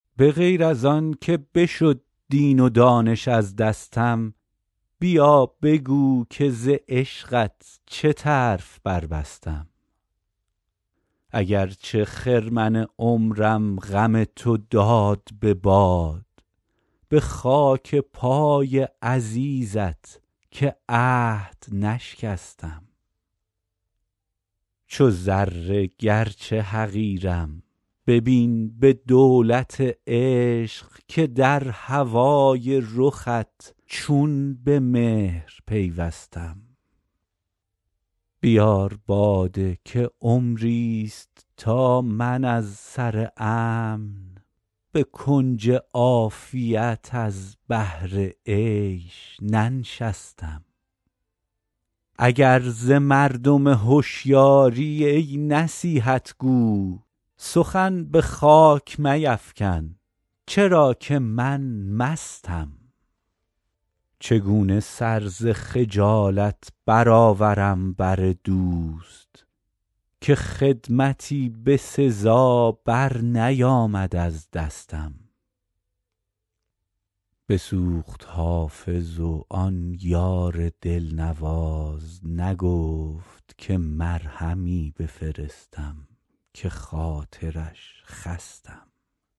به غیر از آن که بشد دین و دانش از دستم بیا بگو که ز عشقت چه طرف بربستم اگر چه خرمن عمرم غم تو داد به باد به خاک پای عزیزت که عهد نشکستم چو ذره گرچه حقیرم ببین به دولت عشق که در هوای رخت چون به مهر پیوستم بیار باده که عمریست تا من از سر امن به کنج عافیت از بهر عیش ننشستم اگر ز مردم هشیاری ای نصیحت گو سخن به خاک میفکن چرا که من مستم چگونه سر ز خجالت برآورم بر دوست که خدمتی به سزا برنیامد از دستم بسوخت حافظ و آن یار دلنواز نگفت که مرهمی بفرستم که خاطرش خستم